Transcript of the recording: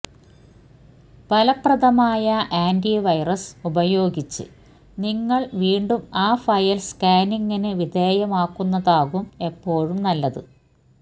ഫലപ്രദമായ ആന്റിവൈറസ് ഉപയോഗിച്ച് നിങ്ങള് വീണ്ടും ആ ഫയല് സ്കാനിങ്ങിന് വിധേയമാക്കുന്നതാകും എപ്പോഴും നല്ലത്